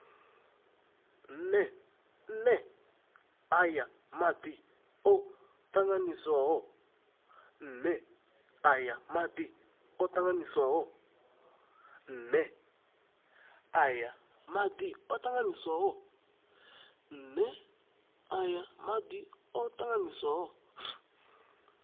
nee aya madi o tanganyiswaho